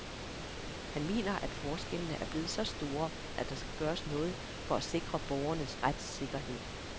Han mener, at forskellene er blevet så store, at der skal gøres noget for at sikre borgernes retssikkerhed.